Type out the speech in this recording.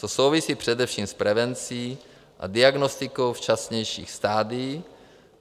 To souvisí především s prevencí a diagnostikou včasnějších stadií.